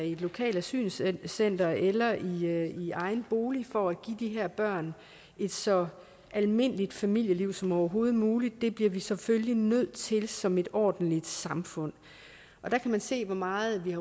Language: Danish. i et lokalt asylcenter eller i i egen bolig for at give de her børn et så almindeligt familieliv som overhovedet muligt det bliver vi selvfølgelig nødt til som et ordentligt samfund og der kan man se hvor meget vi